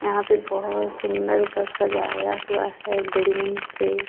यहाँ पे बोहोत सुन्दरसा सजाया हुआ है बेलून से.